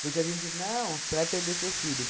Porque a gente... Não, você vai perder seu filho.